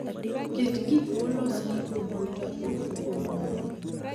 Ket gik molos gi kompyuta e ofuko moro.